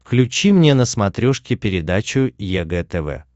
включи мне на смотрешке передачу егэ тв